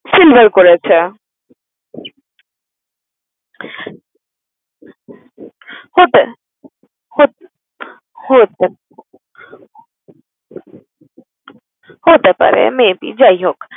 Silver করেছে হতে হত হতে, হতে পারে maybe যাই হোক।